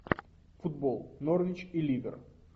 футбол норвич и ливер